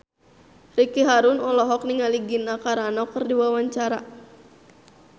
Ricky Harun olohok ningali Gina Carano keur diwawancara